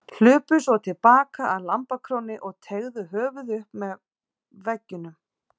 Hlupu svo til baka að lambakrónni og teygðu höfuðið upp með veggjunum.